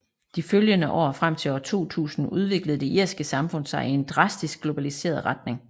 De følgende år frem til år 2000 udviklede det irske samfund sig i en drastisk globaliseret retning